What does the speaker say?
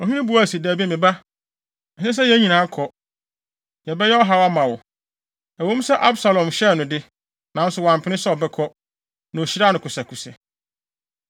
Ɔhene buae se, “Dabi, me ba. Ɛnsɛ sɛ yɛn nyinaa kɔ; yɛbɛyɛ ɔhaw ama wo.” Ɛwɔ mu sɛ Absalom hyɛɛ no de, nanso wampene sɛ ɔbɛkɔ, na ohyiraa no kosɛkosɛ.